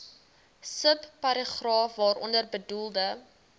subparagraaf waaronder bedoelde